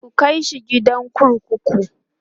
ku kaishi gidan kurkuku!